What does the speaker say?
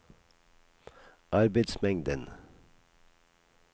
arbeidsmengden